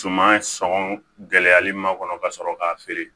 Suman sɔngɔn gɛlɛyali ma kɔnɔ ka sɔrɔ k'a feere